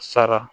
Sara